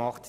ausgeht.